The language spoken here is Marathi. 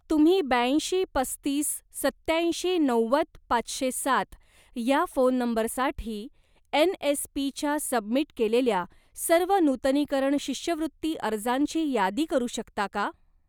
तुम्ही ब्याऐंशी पस्तीस सत्याऐंशी नव्वद पाचशे सात ह्या फोन नंबरसाठी एन.एस.पी.च्या सबमिट केलेल्या सर्व नूतनीकरण शिष्यवृत्ती अर्जांची यादी करू शकता का?